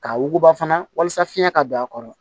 K'a wuguba fana walasa fiɲɛ ka don a kɔrɔ